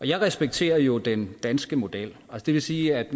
jeg respekterer jo den danske model og det vil sige at